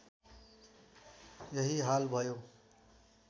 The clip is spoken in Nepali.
यही हाल भयो